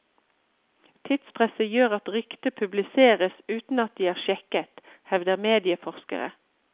Tidspresset gjør at rykter publiseres uten at de er sjekket, hevder medieforskere.